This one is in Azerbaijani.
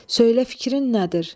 Söylə fikrin nədir?